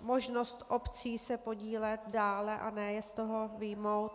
možnost obcí se podílet dále a ne je z toho vyjmout.